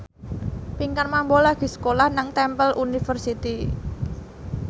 Pinkan Mambo lagi sekolah nang Temple University